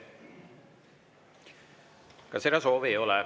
Ka seda soovi ei ole.